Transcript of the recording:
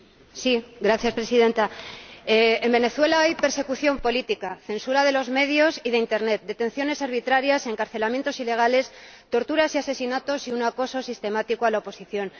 Señora Presidenta, en Venezuela hay persecución política, censura de los medios y de internet, detenciones arbitrarias, encarcelamientos ilegales, torturas y asesinatos y un acoso sistemático a la oposición.